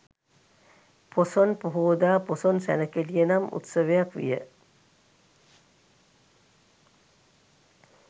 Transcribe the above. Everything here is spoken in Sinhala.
පොසොන් පොහෝදා, පොසොන් සැණකෙළිය නම් උත්සවයක් විය.